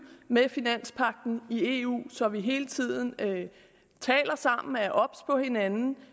med finanspagten i eu så vi hele tiden taler sammen og er obs på hinanden